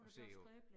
Og se jo